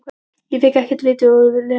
En fékk ekkert af viti út úr Lenu.